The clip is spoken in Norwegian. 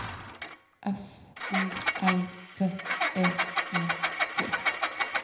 S O L V E I G